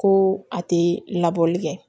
Ko a tɛ labɔli kɛ